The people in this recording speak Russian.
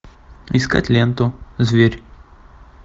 искать ленту зверь